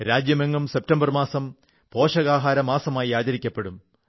രാജ്യമെങ്ങും സെപ്റ്റംബർ മാസം പോഷകാഹാരമാസമായി ആചരിക്കപ്പെടും